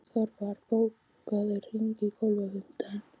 Þorvar, bókaðu hring í golf á fimmtudaginn.